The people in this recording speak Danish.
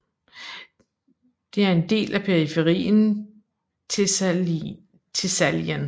Det er en del af periferien Thessalien